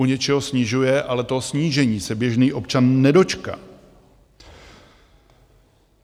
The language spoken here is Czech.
U něčeho snižuje, ale toho snížení se běžný občan nedočká.